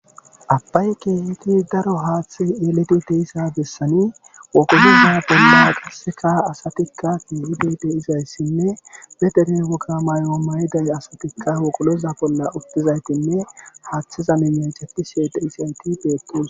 Abay keehidi daro haaththay eelidi deyassa besani wogoloza bolla qasse asatikka xeelizayssi be deriya woga mayuwa mayizayssi asatikka wogoloza bolla uttidayttinne haaththaza miyen cadishe de'izayti